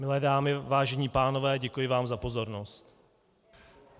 Milé dámy, vážení pánové, děkuji vám za pozornost.